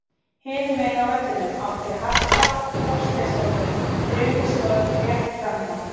Hinum megin á vellinum átti Harpa Þorsteinsdóttir þrumuskot rétt framhjá.